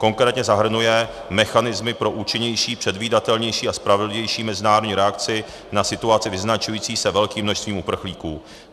Konkrétně zahrnuje mechanismy pro účinnější, předvídatelnější a spravedlivější mezinárodní reakci na situaci vyznačující se velkým množstvím uprchlíků.